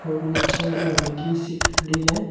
और नीचे की सीट पड़ी है।